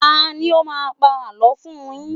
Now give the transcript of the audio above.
Tani ó máa ń pa àlọ́ fún un yín?